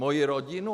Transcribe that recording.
Moji rodinu?